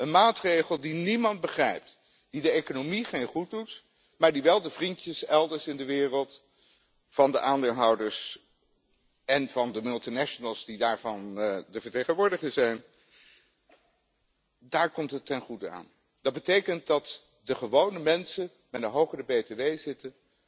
Een maatregel die niemand begrijpt, die de economie geen goed doet, maar die wel de vriendjes elders in de wereld van de aandeelhouders en van de multinationals die daarvan de vertegenwoordiger zijn ten goede komt. Dat betekent dat de gewone mensen met een hogere btw zitten